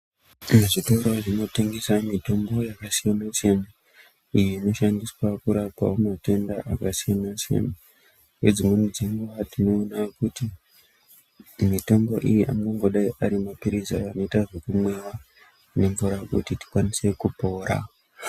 Zvitora zvinotengesa mitombo yakasiyana siyana iyii inoshandiswa kurapawo matenda akasiyana siyana nedzimweni dzenguva tinoona kuti mitombo iyi anongodai ari mapiritsi anongoita zvekumwiwa nemvura kuti tikwanise kupora.